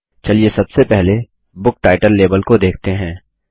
चलिए सबसे पहले बुक टाइटल लेबल को देखते हैं